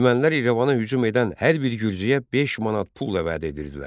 Ermənilər İrəvana hücum edən hər bir gürcüyə beş manat pulla vəd edirdilər.